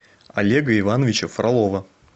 олега ивановича фролова